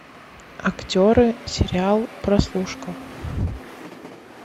актеры сериал прослушка